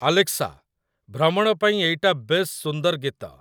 Alexa, ଭ୍ରମଣ ପାଇଁ ଏଇଟା ବେଶ ସୁନ୍ଦର ଗୀତ